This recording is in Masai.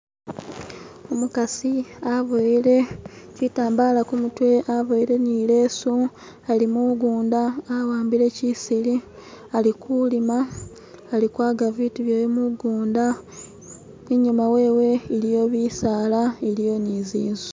Umukasi aboyele chitambala kumutwe aboyele ni leesu ali mugunda awambile chisili alikulima ali kwaga bitu byewe mugunda inyuma wewe iliyo bisaala iliyo ni zinzu